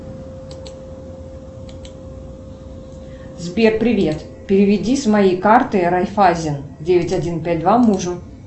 сбер привет переведи с моей карты райффайзен девять один пять два мужу